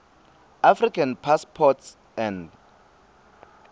african passports and